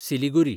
Siliguri